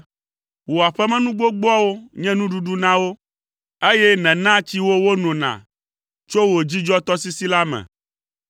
Wò aƒemenu gbogboawo nye nuɖuɖu na wo, eye nènaa tsi wo wonona tso wò dzidzɔtɔsisi la me.